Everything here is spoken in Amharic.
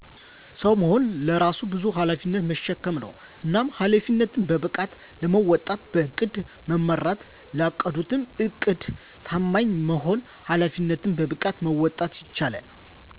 ሰዉ መሆን በራሱ በዙ ኃላፊነትን መሸከም ነዉ። እናም ኃላፊነትን በብቃት ለመወጣት በዕቅድ መመራትና ላቀዱት ዕድድ ታማኝ በመሆን ኃላፊነትን በብቃት መወጣት ይቻላል።